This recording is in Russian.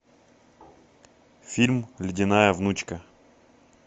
фильм ледяная внучка